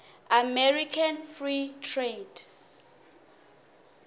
american free trade